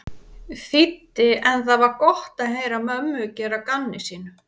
þýddi en það var gott að heyra mömmu gera að gamni sínu.